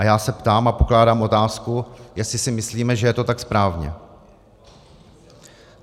A já se ptám a pokládám otázku, jestli si myslíme, že je to tak správně.